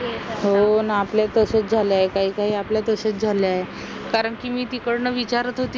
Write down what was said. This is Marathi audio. हो ना आपला तसंच झालं आहे काही काही आपल्या तसेच झाले आहे कारण की मी तिकडून विचारत होती ना